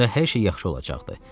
Onda hər şey yaxşı olacaqdı.